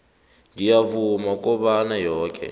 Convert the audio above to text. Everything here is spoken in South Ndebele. ngiyavuma kobana yoke